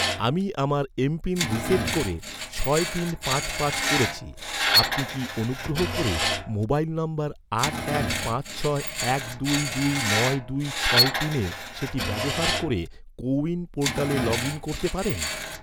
আমি আমার MPIN reset করে ছয় তিন পাঁচ পাঁচ করেছি, আপনি কি অনুগ্রহ করে মোবাইল নম্বর আট এক পাঁচ ছয় এক দুই দুই নয় দুই ছয় তিনে সেটি ব্যবহার ক’রে, কো উইন পোর্টালে লগ ইন করতে পারেন?